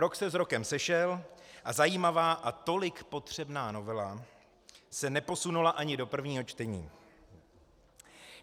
Rok se s rokem sešel a zajímavá a tolik potřebná novela se neposunula ani do prvního čtení.